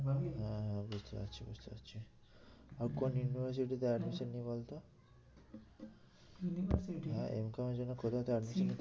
হ্যাঁ হ্যাঁ বুঝতে পারছি বুঝতে পারছি আর কোন university তে admission নিই বলতো? university হ্যাঁ Mcom এর জন্য কোথাতে admission নিতে~